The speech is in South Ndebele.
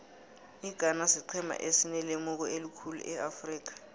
ighana siqhema esinelemuko elikhulu eafrika